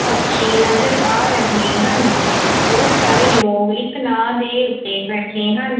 ਬੱਚੇ ਨਜ਼ਰ ਆ ਰਹੇ ਹਨ ਬਹੁਤ ਸਾਰੇ ਲੋਗ ਇੱਕ ਨਾਵ ਦੇ ਓੱਤੇ ਬੈਠੇ ਹਨ।